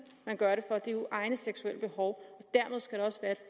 man gør det for det er egne seksuelle behov